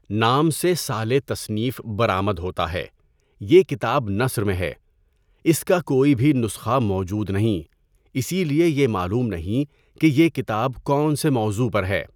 نام سے سالِ تصنیف برآمد ہوتا ہے۔ یہ کتاب نثر میں ہے۔ اس کا کوئی بھی نسخہ موجود نہیں، اسی لیے یہ معلوم نہیں کہ یہ کتاب کون سے موضوع پر ہے۔